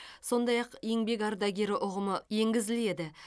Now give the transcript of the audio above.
сондай ақ еңбек ардагері ұғымы енгізіледі